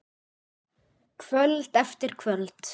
Kvöld eftir kvöld.